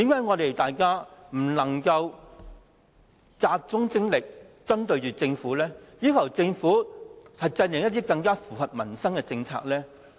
為何大家不能集中精力針對政府，要求政府制訂一些更符合民生的政策呢？